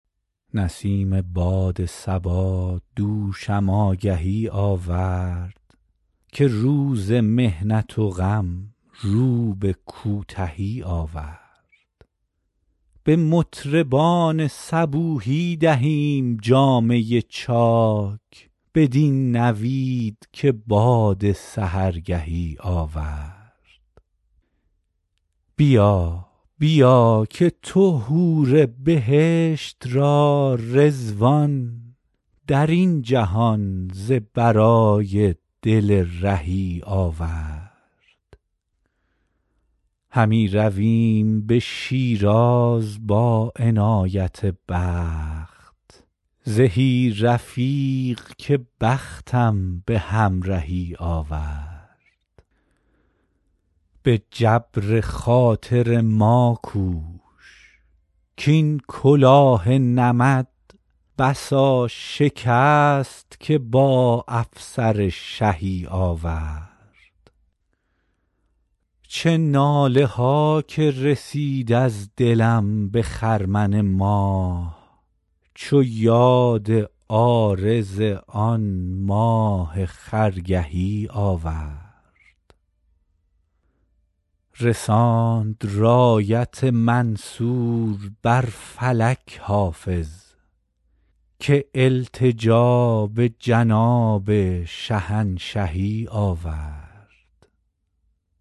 برید باد صبا دوشم آگهی آورد که روز محنت و غم رو به کوتهی آورد به مطربان صبوحی دهیم جامه چاک بدین نوید که باد سحرگهی آورد بیا بیا که تو حور بهشت را رضوان در این جهان ز برای دل رهی آورد همی رویم به شیراز با عنایت دوست زهی رفیق که بختم به همرهی آورد به جبر خاطر ما کوش کـ این کلاه نمد بسا شکست که با افسر شهی آورد چه ناله ها که رسید از دلم به خرمن ماه چو یاد عارض آن ماه خرگهی آورد رساند رایت منصور بر فلک حافظ که التجا به جناب شهنشهی آورد